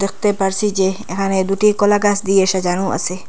দেখতে পারসি যে এহানে দুটি কলাগাছ দিয়ে সাজানো আছে।